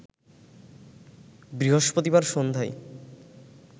বৃহস্পতিবার সন্ধ্যায়